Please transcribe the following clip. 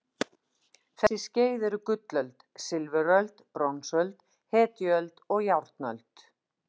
Þessi skeið eru gullöld, silfuröld, bronsöld, hetjuöld og járnöld.